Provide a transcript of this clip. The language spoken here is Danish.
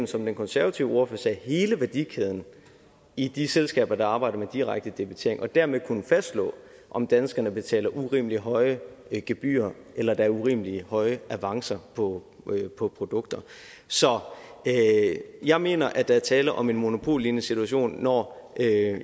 som den konservative ordfører sagde at hele værdikæden i de selskaber der arbejder med direkte debitering og dermed kunne fastslå om danskerne betaler urimelig høje gebyrer eller der er urimelig høje avancer på på produkter så jeg mener at der er tale om en monopollignende situation når